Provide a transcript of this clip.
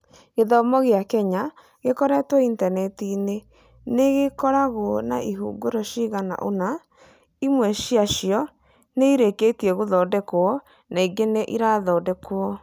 Gĩthomo gĩa Kenya gĩkorĩtwo intaneti-inĩ nĩ gĩkoragwo na ĩhũngĩro cigana ũna, imwe ciacio nĩ irĩkĩtie gũthondekwo na ingĩ nĩ irathondekwo.